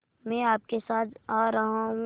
मैं आपके साथ आ रहा हूँ